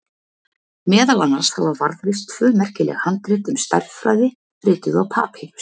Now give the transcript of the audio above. Meðal annars hafa varðveist tvö merkileg handrit um stærðfræði, rituð á papýrus.